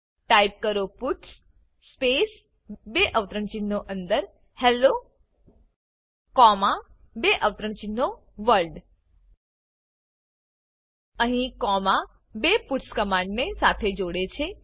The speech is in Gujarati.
ટાઇપ કરો પટ્સ સ્પેસ બે અવતરણચિહ્નો અંદર હેલ્લો કોમા બે અવતરણચિહ્નો વર્લ્ડ અહી કોમા બે પટ્સ કમાંડ ને સાથે જોડે છે